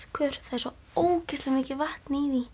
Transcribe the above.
er svo ógeðslega mikið vatn í